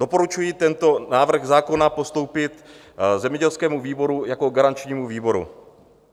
Doporučuji tento návrh zákona postoupit zemědělskému výboru jako garančnímu výboru.